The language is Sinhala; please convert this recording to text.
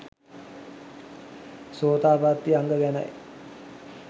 සෝතාපත්ති අංග ගැනයි.